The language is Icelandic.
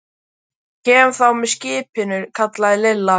Ég kem þá með skipinu, kallaði Lilla.